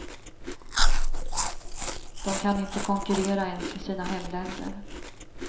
De kan inte konkurrera ens i sina hemländer.